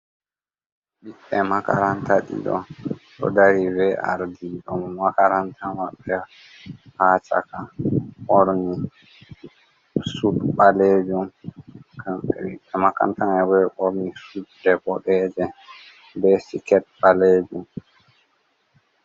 Ɓedde makaranta ɗiɗo ɗo dari v ard ɗo makaranta maɓbe ha chaka borni sud ɓalejum borni sudde boɗeeje be siket ɓalejum.